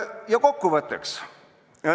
Ja kokkuvõtteks.